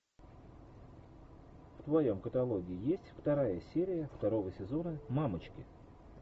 в твоем каталоге есть вторая серия второго сезона мамочки